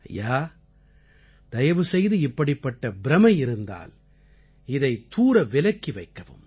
ஐயா தயவு செய்து இப்படிப்பட்ட பிரமை இருந்தால் இதை தூர விலக்கி வைக்கவும்